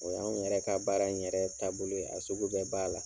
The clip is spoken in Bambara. O y'anw yɛrɛ ka baara in yɛrɛ taabolo ye, a sugu bɛɛ b'a la.